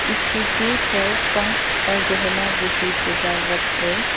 उसके सिर पर पंख और गहना जैसी सजावट है।